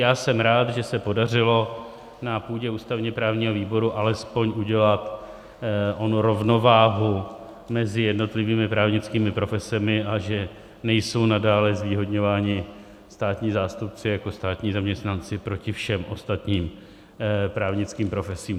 Já jsem rád, že se podařilo na půdě ústavně-právního výboru alespoň udělat onu rovnováhu mezi jednotlivými právnickými profesemi a že nejsou nadále zvýhodňováni státní zástupci jako státní zaměstnanci proti všem ostatním právnickým profesím.